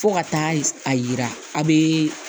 Fo ka taa a yira a bɛ